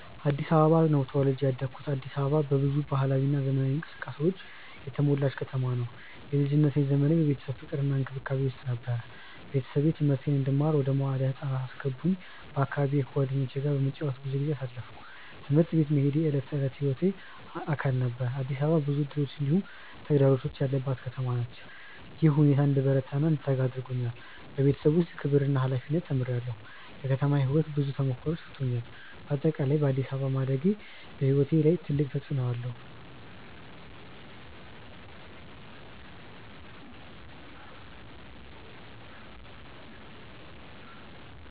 አዲስ አበባ ነው ተወልጄ ያደኩት። አዲስ አበባ በብዙ ባህላዊ እና ዘመናዊ እንቅስቃሴዎች የተሞላ ከተማ ነው። የልጅነት ዘመኔ በቤተሰብ ፍቅር እና እንክብካቤ ውስጥ ነበር። ቤተሰቤ ትምህርቴን እንድማር ወደ መዋለ ህፃናት አስገቡኝ በአካባቢዬ ከጓደኞቼ ጋር በመጫወት ብዙ ጊዜ አሳለፍኩ። ትምህርት ቤት መሄድ የዕለት ተዕለት ሕይወቴ አካል ነበር። አዲስ አበባ ብዙ እድሎች እንዲሁም ተግዳሮቶች ያለባት ከተማ ናት። ይህ ሁኔታ እንድበረታ እና እንድተጋ አድርጎኛል። በቤተሰብ ውስጥ ክብር እና ሀላፊነት ተምሬአለሁ። የከተማ ሕይወት ብዙ ተሞክሮዎችን ሰጥቶኛል። በአጠቃላይ በአዲስ አበባ ማደጌ በሕይወቴ ላይ ትልቅ ተፅዕኖ አለው።